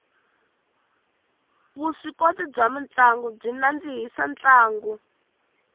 vuswikoti bya mutlangi byi nandzihisa ntlangu